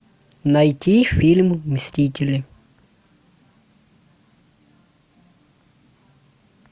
найти фильм мстители